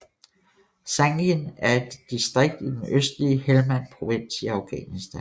Sangin er et distrikt i den østlige Helmand Provins i Afghanistan